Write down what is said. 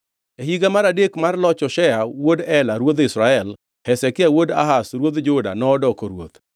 E higa mar adek mar loch Hoshea wuod Ela ruodh Israel, Hezekia wuod Ahaz ruodh Juda nodoko ruoth.